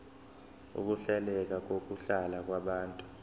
ukuhleleka kokuhlala kwabantu